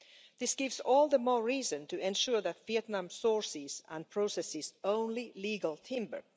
This is all the more reason to ensure that Vietnam sources and processes only legal timber.